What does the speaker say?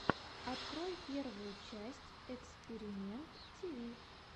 открой первую часть экспиримэнт тиви